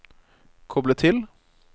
koble til